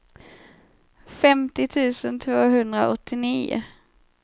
femtio tusen tvåhundraåttionio